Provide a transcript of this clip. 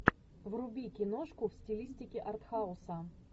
вруби киношку в стилистике артхауса